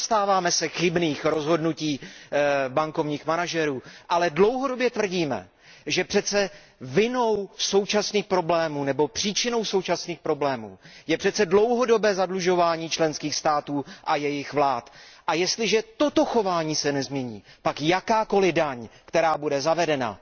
Nezastáváme se chybných rozhodnutí bankovních manažerů, ale dlouhodobě tvrdíme, že přece vinou současných problémů nebo příčinou současných problémů je přece dlouhodobé zadlužování členských států a jejich vlád, a jestliže toto chování se nezmění, pak jakákoli daň, která bude zavedena,